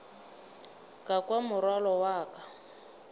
ka kwa morwalo wa ka